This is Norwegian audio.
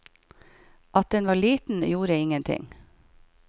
At den var liten, gjorde ingenting.